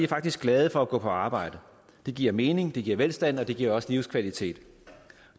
faktisk glade for at gå på arbejde det giver mening det giver velstand og det giver også livskvalitet